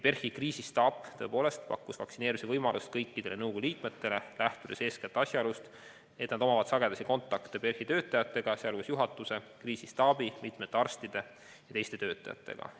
PERH-i kriisistaap tõepoolest pakkus vaktsineerimise võimalust kõikidele nõukogu liikmetele, lähtudes eeskätt asjaolust, et nad omavad sagedasi kontakte PERH-i töötajatega, sh juhatuse, kriisistaabi, mitmete arstide ja teiste töötajatega.